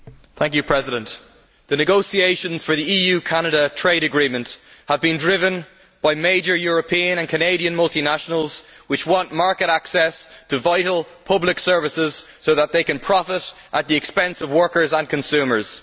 Madam President, the negotiations for the EU Canada trade agreement have been driven by major European and Canadian multinationals who want market access to vital public services so that they can profit at the expense of workers and consumers.